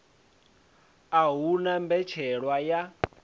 a hu na mbetshelwa ya